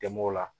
Dɛmɛw la